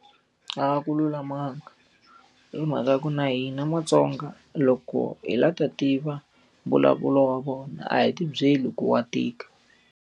A ku lulamanga. Hi mhaka ku na hina matsonga loko hi la ta tiva mbulavulo wa vona a hi ti byeli ku wa tika.